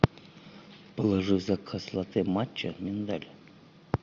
положи в заказ латте матча миндаль